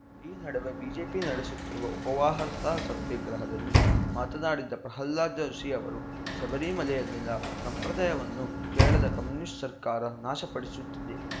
ಈ ನಡುವೆ ಬಿಜೆಪಿ ನಡೆಸುತ್ತಿರುವ ಉಪವಾಹಸ ಸತ್ಯಾಗ್ರಹದಲ್ಲಿ ಮಾತನಾಡಿದ ಪ್ರಹ್ಲಾದ ಜೋಶಿ ಅವರು ಶಬರಿಮಲೆಯಲ್ಲಿನ ಸಂಪ್ರದಾಯವನ್ನು ಕೇರಳದ ಕಮ್ಯುನಿಸ್ಟ್‌ ಸರ್ಕಾರ ನಾಶಪಡಿಸುತ್ತಿದೆ